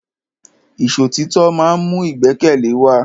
Ìṣọ̀títọ́ ma ń mú ìgbẹ́kẹ̀lé wa.